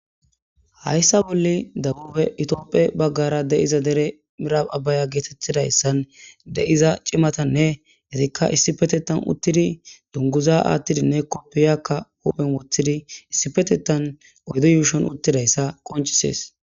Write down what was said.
hayssa bolli dabube itopphe baggara deiza dere mirab abaya geetettidayssan deiza cimatanne hetikka issi petetan uttidi dunguza aathtidinne koppiyakka huphen wothidi issipetetan oydo yuushon uttidayssa qoncises